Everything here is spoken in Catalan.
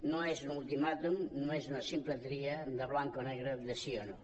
no és un ultimàtum no és una simple tria de blanc o negre de sí o no